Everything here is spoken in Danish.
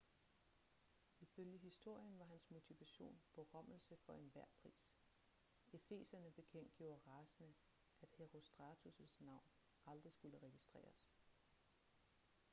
ifølge historien var hans motivation berømmelse for enhver pris efeserne bekendtgjorde rasende at herostratus' navn aldrig skulle registreres